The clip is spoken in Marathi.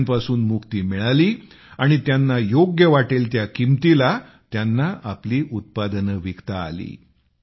अडत्यांपासून मुक्ती मिळाली आणि त्यांना योग्य वाटेल त्या किमतीला त्यांना आपली उत्पादने विकता आली